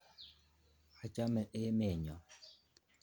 Achame emet nyo.